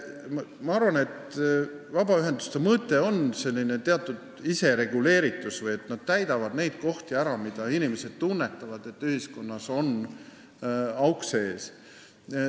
Ma arvan, et vabaühenduste mõte on teatud isereguleeritus: nad täidavad ära need kohad, kus inimesed tunnetavad, et ühiskonnas on augud sees.